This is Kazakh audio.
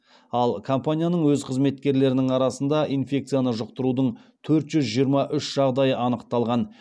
ал компанияның өз қызметкерлерінің арасында инфекцияны жұқтырудың төрт жүз жиырма үш жағдайы анықталған